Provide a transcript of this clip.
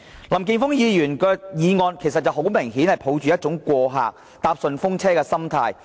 林健鋒議員的議案，顯示了他抱着過客、搭順風車的心態。